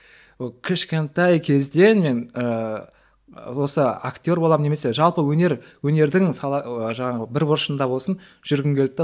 ы кішкентай кезден мен ыыы осы актер боламын немесе жалпы өнер өнердің сала жаңағы бір бұрышында болсын жүргім келді де